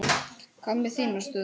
Hvað með þína stöðu?